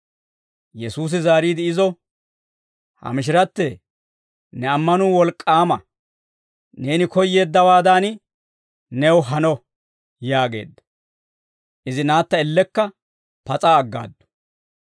Yesuusi zaariide izo, «Ha mishirattee, ne ammanuu wolk'k'aama; neeni koyyeeddawaadan new hano» yaageedda. Izi naatta ellekka pas'a aggaaddu.